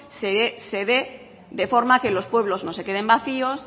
se dé de forma que los pueblos no se queden vacíos